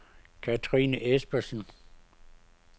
Kathrine Espersen